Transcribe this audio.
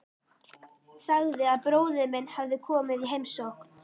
Sagði að bróðir minn hefði komið í heimsókn.